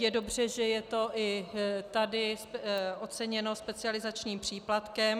Je dobře, že je to i tady oceněno specializačním příplatkem.